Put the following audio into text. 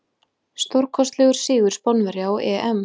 Stórkostlegur sigur Spánverja á EM.